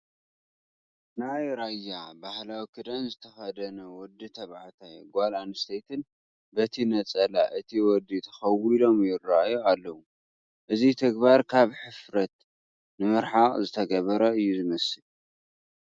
ናይ ራያ ባህላዊ ክዳን ዝተኸደኑ ወዲ ተባዕታይን ጓል ኣነስተይትን በቲ ነፀላ እቲ ወዲ ተኸዊሎም ይርአዩ ኣለዉ፡፡ እዚ ተግባር ካብ ሕፍረት ንምርሓቕ ዝተገብረ እዩ ዝመስል፡፡